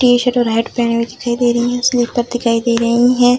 T-shirt और hat पहनी हुई दिखाई दे रही है स्लीपर दिखाई दे रही है।